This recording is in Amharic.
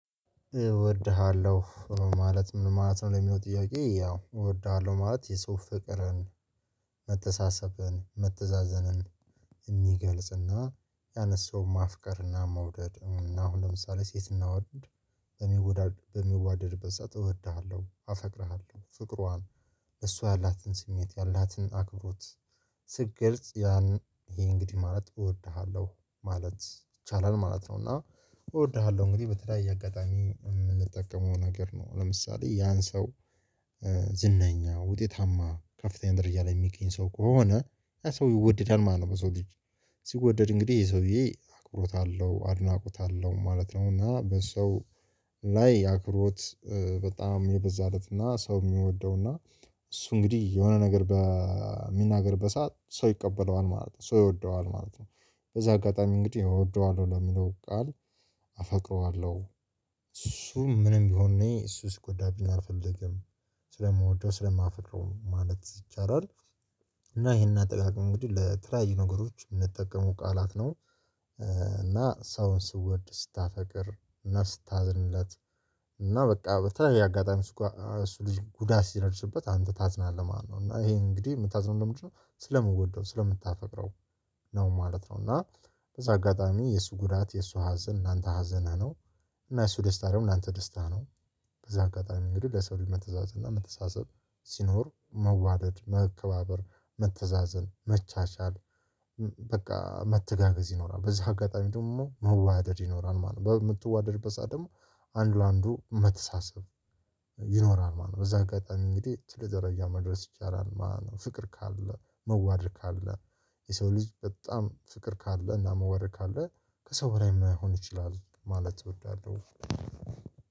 እወድሃለሁ ማለት ምን ማለት ነው? ለሚለው ጥያቄ ያው እወድሃለሁ ማለት የሰው ፍቅርን መተሳሰብን መተዛዘንን የሚገልጽና ያነንን ሰውን ማፍቀርና መውደድ አሁን ለምሳሌ ሴት እና ወንድ። በሚዋደድበት ሰዓት እወድሃለሁ አፈቅርሃለሁ ፍቅሯን እሷ ያላትን ስሜት ያላትን አክብሮት ስትገልጽ ያንን ይሄ እንግዲህ ማለት እወድሃለሁ ማለት ይቻላል ማለት ነው። እና እወድሃለሁ እንግዲህ በተለያየ አጋጣሚ የምንጠቀመው ነገር ነው ለምሳሌ ያን ሰው። ዝነኛ ውጤታማ ከፍተኛ ደረጃ ላይ የሚገኝ ሰው ከሆነ ሰው ይወደዳል ማለት ነው። በሰው ልጅ ሲወደድ እንግዲህ ይሄ ሰውዬ አክብሮት አለው አድናቆት አለው ማለት ነው። እና በሰው ላይ አክሮት በጣም የበዛለት እና ሰው የሚወደው እና እሱ እንግዲህ የሆነ ነገር በሚናገርበት ሰዓት ሰው ይቀበለዋል ማለት ነው። ሰው ይወደዋል ማለት ነው። በዛ አጋጣሚ እንግዲህ እወደዋለሁ ለሚለው ቃል አፈቅረዋለሁ እሱ ምንም ቢሆን እኔ እሱ ሲጎዳብኝ አልፈልግም ስለምወደው ስለማፈቅረው ማለት ይቻላል። እና ይሄን አጠቃቀም እንግዲህ ለተለያዩ ነገሮች የምንጠቀመው ቃላት ነው። እና ሰውን ስወድ ስታፈቅር እና ስታዝንለት እና በቃ በተለያየ አጋጣሚ እሱ ልጅ ጉዳት ሲደርስበት አንተ ታዝናለህ ማለት ነው። እና ይሄ እንግዲህ የምታዝነው ለምንድነው ስለምወደው ስለምታፈቅረው ነው ማለት ነው። እና በዛ አጋጣሚ የእሱ ጉዳት የእሱ ሀዘን ለአንተ ሀዘንህ ነው። እና የእሱ ደስታ ደግሞ ለአንተ ደስታ ነው። በዛ አጋጣሚ እንግዲህ ለሰው ልጅ መተዛዘን እና መተሳሰብ ሲኖር መዋደድ መከባበር መተዛዘን መቻቻል በቃ መተጋገዝ ይኖራል በዚህ አጋጣሚ ደግሞ መዋደድ ይኖራል ማለት ነው። በምትዋደድበት ሰዓት ደግሞ አንዱ አንዱ መተሳሰብ ይኖራል ማለት ነው። በዛህ አጋጣሚ እንግዲህ ትልቅ ደረጃ መድረስ ይቻላል ማለት ነው። ፍቅር ካለ መዋደድ ካለ የሰው ልጅ በጣም ፍቅር ካለ እና መዋደድ ካለ ከሰው በላይ መሆን ይችላል ማለት እወዳለሁ።